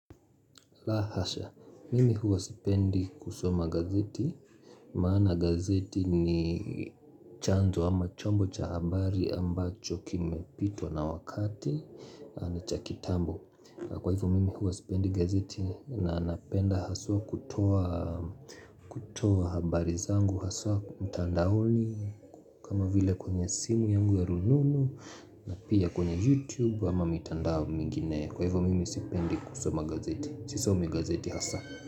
La hasha, mimi huwa sipendi kusoma gazeti, maana gazeti ni chanzo ama chombo cha habari ambacho kimepitwa na wakati na cha kitambo Kwa hivyo mimi huwa sipendi gazeti na napenda haswa kutoa kutoa habari zangu, haswa mtandaoni kama vile kwenye simu yangu ya rununu na pia kwenye youtube ama mitandao mingine Kwa hivyo mimi sipendi kusoma gazeti. Sisomi gazeti hasa.